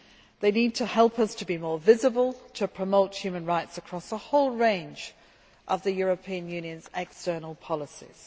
They need to help us to be more visible and to promote human rights across the whole range of the European Union's external policies.